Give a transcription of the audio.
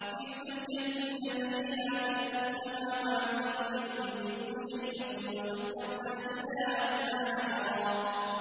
كِلْتَا الْجَنَّتَيْنِ آتَتْ أُكُلَهَا وَلَمْ تَظْلِم مِّنْهُ شَيْئًا ۚ وَفَجَّرْنَا خِلَالَهُمَا نَهَرًا